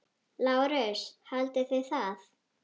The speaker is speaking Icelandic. LÁRUS: Haldið þið það?